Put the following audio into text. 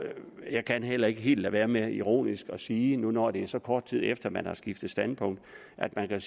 jeg kan heller ikke helt lade være med ironisk at sige nu hvor det er så kort tid efter at man har skiftet standpunkt at at